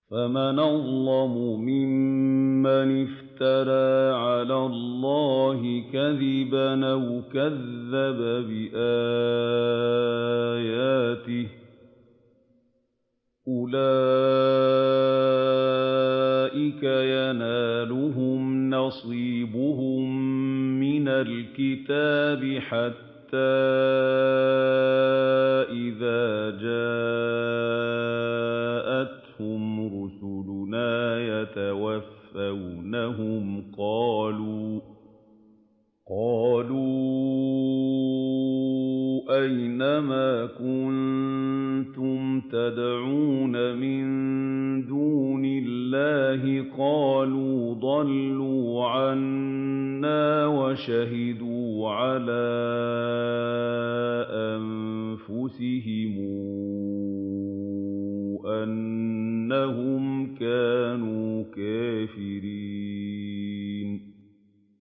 فَمَنْ أَظْلَمُ مِمَّنِ افْتَرَىٰ عَلَى اللَّهِ كَذِبًا أَوْ كَذَّبَ بِآيَاتِهِ ۚ أُولَٰئِكَ يَنَالُهُمْ نَصِيبُهُم مِّنَ الْكِتَابِ ۖ حَتَّىٰ إِذَا جَاءَتْهُمْ رُسُلُنَا يَتَوَفَّوْنَهُمْ قَالُوا أَيْنَ مَا كُنتُمْ تَدْعُونَ مِن دُونِ اللَّهِ ۖ قَالُوا ضَلُّوا عَنَّا وَشَهِدُوا عَلَىٰ أَنفُسِهِمْ أَنَّهُمْ كَانُوا كَافِرِينَ